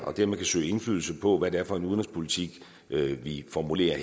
og dermed kan søge indflydelse på hvad det er for en udenrigspolitik vi formulerer